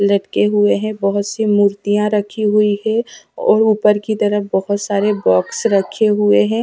लटके हुए हैं बहुत सी मूर्तियां रखी हुए है और ऊपर की तरफ़ बहुत सारी बॉक्स रखे हुए है।